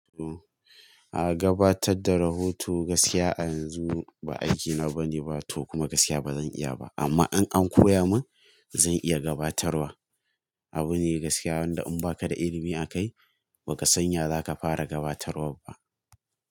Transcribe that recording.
A gabatar da rahoto gaskiya a yanzu ba aikina bane, ba to kuma gaskiya bazan iya ba amma in an koya min zan iya gabatarwa. Abu ne gaskiya wanda in baka da ilimi akai ba ka sanya zaka fara gabatarwa ba.